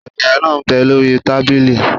Sẹ̀kẹ̀rẹ̀ náà m bẹ lórí tábìlì